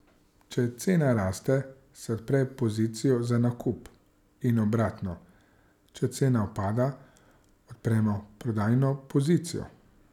Če cena raste, se odpre pozicijo za nakup, in obratno, če cena upada, odpremo prodajno pozicijo.